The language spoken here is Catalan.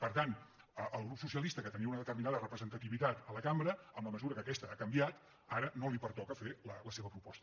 per tant al grup socialista que tenia una determinada representativitat a la cambra en la mesura que aquesta ha canviat ara no li pertoca fer la seva proposta